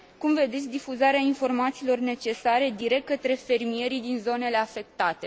Cum vedeți difuzarea informațiilor necesare direct către fermierii din zonele afectate?